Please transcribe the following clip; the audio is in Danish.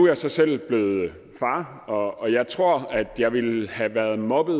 jeg så selv blevet far og jeg tror at jeg ville have været mobbet